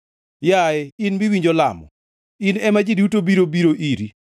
Yaye in miwinjo lamo, in ema ji duto biro biro iri.